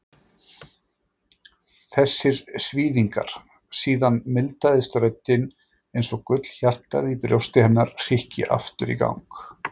Þessir svíðingar. Síðan mildaðist röddin einsog gullhjartað í brjósti hennar hrykki aftur í gang.